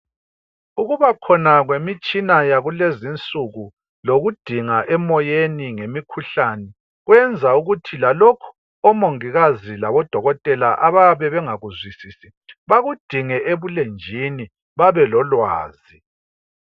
Ukuba khona kwemitshina yakulezinsuku lokudinga emoyeni ngemikhuhlane kuyenza lokho odokotela labomongikazi abayabe bengakuzwisise bakudinge ebulenjwini bebelolwazi